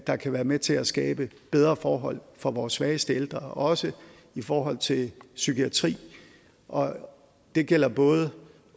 der kan være med til at skabe bedre forhold for vores svageste ældre også i forhold til psykiatri og det gælder både